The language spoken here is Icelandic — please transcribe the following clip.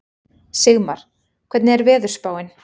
Sigmar, hvernig er veðurspáin?